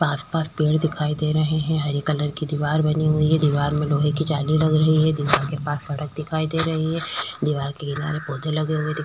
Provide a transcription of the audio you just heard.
पास-पास पेड़ दिखाई दे रहे हैं। हरे कलर की दीवार बनी हुई है। दीवार में लोहे की जाली लग रही है। दीवार के पास सड़क दिखाई दे रही है। दीवार के किनारे पौधे लगे हुए दिखा --